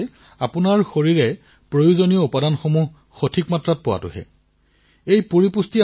আপুনি iron calcium লাভ কৰিছে নে নাই ছডিয়াম লাভ কৰিছে নে নাই ভিটামিন লাভ কৰিছে নে নাই এই সকলোবোৰ পুষ্টিৰ এক গুৰুত্বপূৰ্ণ দিশ